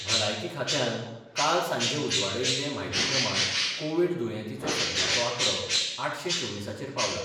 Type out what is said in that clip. भलायकी खात्यान काल सांजे उजवाडायिल्ले म्हायतीप्रमाण कोव्हीड दुयतींचो सध्याचो आकडो आठशें चोविसांचेर पावला.